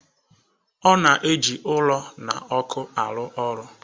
Ọ na-eji ụrọ na ọkụ arụ ọrụ.